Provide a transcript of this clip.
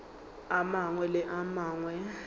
a mangwe le a mangwe